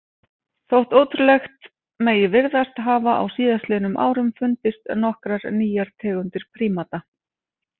Þótt ótrúlegt megi virðast hafa á síðastliðnum árum fundist nokkrar nýjar tegundir prímata.